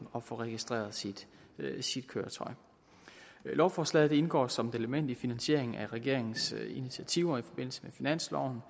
at få registreret sit sit køretøj lovforslaget indgår som et element i finansieringen af regeringens initiativer i forbindelse med finansloven